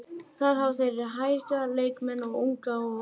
Þar hafa þeir hæga leikmenn eða unga og óreynda.